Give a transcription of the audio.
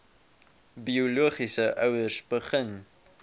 biologiese ouers begin